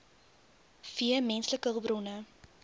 v menslike hulpbronne